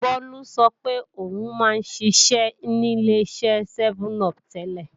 Bólú sọ pé o ń má ń ṣiṣẹ́ ní Ileṣẹ́ sẹ́mẹ́n-upù tẹ́lẹ̀